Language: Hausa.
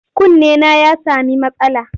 Kunnena ya sami matsala.